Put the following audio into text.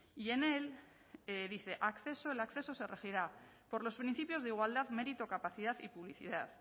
y en él dice acceso el acceso se regirá por los principios de igualdad mérito capacidad y publicidad